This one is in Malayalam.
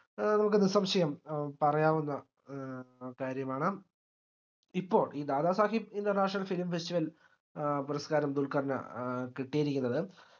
ഏഹ് നമുക്ക് നിസംശയം പറയാവുന്ന ഏർ കാര്യമാണ് ഇപ്പൊ ഇ ദാദാസാഹിബ് international film festival ഏർ പുരസ്ക്കാരം ദുല്കർന് ഏർ കിട്ടിയിരിക്കുന്നത്